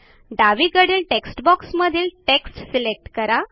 डावीकडील टेक्स्टबॉक्समधील text select करा